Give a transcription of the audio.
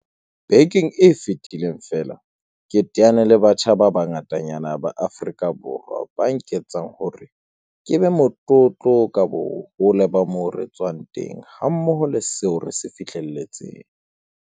Bekeng e fetileng feela ke teane le batjha ba bangatanyana ba Aforika Borwa, ba nketsang hore ke be motlotlo ka bohole ba moo re tswang teng hammoho le seo re se fihlelletseng.